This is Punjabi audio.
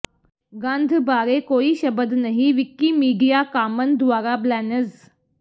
ਗੰਧ ਬਾਰੇ ਕੋਈ ਸ਼ਬਦ ਨਹੀਂ ਵਿਕੀਮੀਡੀਆ ਕਾਮਨ ਦੁਆਰਾ ਬਲੈਨਜ਼